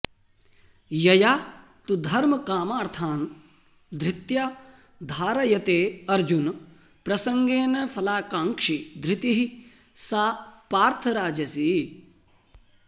यया तु धर्मकामार्थान् धृत्या धारयते अर्जुन प्रसङ्गेन फलाकाङ्क्षी धृतिः सा पार्थ राजसी